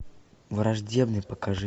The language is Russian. враждебный покажи